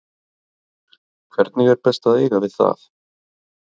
Hvernig er best að eiga við það?